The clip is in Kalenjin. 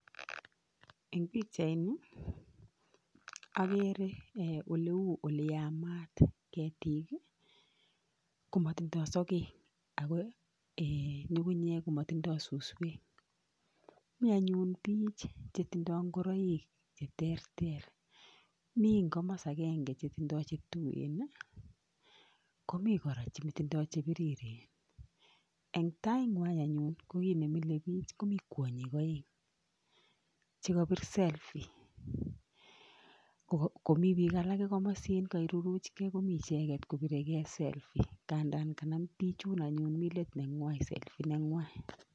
Eng pichaini agere oleu ole yamat. Ketik komatindoi sokek, ako ngu, ngu, nyek ko matindoi suswek. Mi anyun biich chetindoi ngoroik che terter. Mi eng komos agenge che tindoi che tuen ko mi kora che tindoi che biriren. Eng taingwai anyun ko kiit ne milei biich komi kwonyik oeng che kapir selfie komi biik alake komosin kokairuruchkei komi icheket kopiregei selfie[cs. Kandan kanam biichun anyun mi let neng'wai selfie neng'wai.